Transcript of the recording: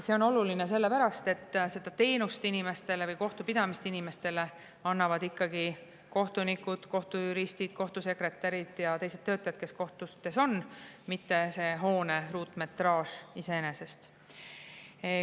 See on oluline sellepärast, et seda teenust või kohtupidamist inimestele ikkagi kohtunikud, kohtujuristid, kohtusekretärid ja teised töötajad, kes kohtutes on, mitte hoone ruutmetraaž.